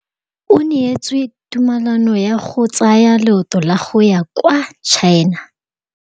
O neetswe tumalanô ya go tsaya loetô la go ya kwa China.